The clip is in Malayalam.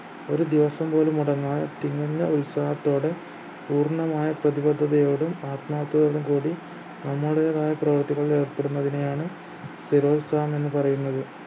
ഒരു ദിവസം പോലും മുടങ്ങാതെ തികഞ്ഞ ഉത്സാഹത്തോടെ പൂർണ്ണമായ പ്രതിബദ്ധതയോടും ആത്മാർത്ഥതയോടും കൂടി നമ്മുടേതായ പ്രവൃത്തികളിൽ ഏർപ്പെടുന്നതിനെയാണ് സ്ഥിരോത്സാഹം എന്ന് പറയുന്നത്